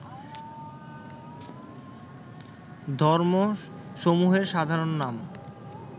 ধর্মসমূহের সাধারণ নাম